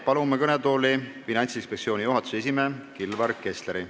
Palume kõnetooli Finantsinspektsiooni juhatuse esimehe Kilvar Kessleri.